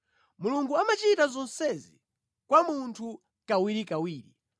“Mulungu amachita zonsezi kwa munthu kawirikawiri,